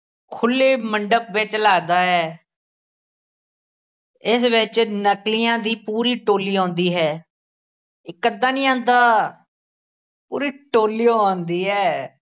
ਖੁੱਲੇ ਮੰਡਪ ਵਿੱਚ ਲੱਗਦਾ ਹੈ ਇਸ ਵਿੱਚ ਨਕਲੀਆਂ ਦੀ ਪੂਰੀ ਟੋਲੀ ਆਉਂਦੀ ਹੈ ਇੱਕ ਅੱਧਾ ਨੀ ਆਂਦਾ, ਪੂਰੀ ਟੋਲੀ ਓ ਆਉਂਦੀ ਹੈ,